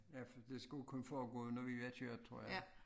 Ja for det skulle kun foregå når vi var kørt tror jeg